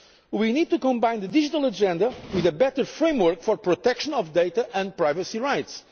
We need to combine the digital agenda with a better framework for the protection of data and privacy rights.